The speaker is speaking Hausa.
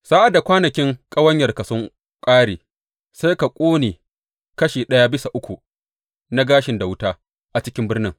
Sa’ad da kwanakin ƙawanyarka sun ƙare, sai ka ƙone kashi ɗaya bisa uku na gashin da wuta a cikin birnin.